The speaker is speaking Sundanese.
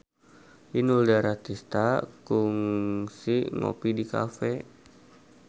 Inul Daratista kungsi ngopi di cafe